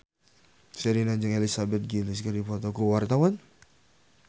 Sherina jeung Elizabeth Gillies keur dipoto ku wartawan